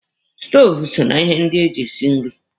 Stoovu so na ihe ndị eji esi nri.